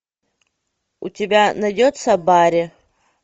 у тебя найдется барри